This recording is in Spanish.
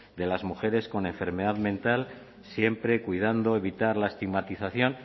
de las mujeres con enfermedad mental siempre cuidando evitar la estigmatización